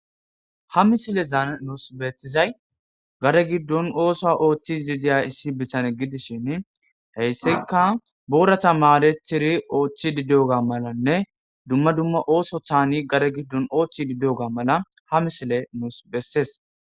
ha misile zaa nuus beeththizay gare giddon ooso ooththis didiya issi bitane gidishin heyssika boorata maadethiri ooththi dideoga malanne dumma dumma ooso taani gare giddon ooththi dideoga mala ha misile nuus bessees